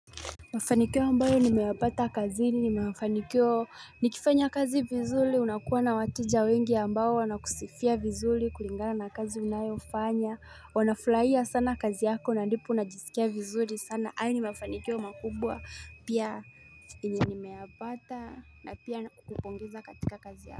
Mafaniko ambayo nimeyapata kazini na mafanikio nikifanya kazi vizuri unakuwa na wateja wengi ambao wanakusifia vizuri kulingana na kazi unayofanya wanafurahia sana kazi yako na ndipo unajisikia vizuri sana haya ni mafanikio makubwa pia yenye nimeyapata na pia kupongeza katika kazi yako.